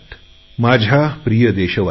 माझ्या प्रिय देशवासीयांनो